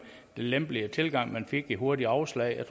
lempeligere tilgang at man fik det hurtige afslag jeg